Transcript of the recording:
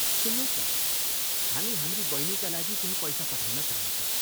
सुन्नुहोस् न, हामी हाम्री बहिनीका लागि केही पैसा पठाउन चाहन्छौँ।